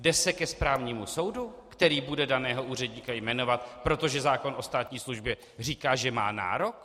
Jde se ke správnímu soudu, který bude daného úředníka jmenovat, protože zákon o státní službě říká, že má nárok?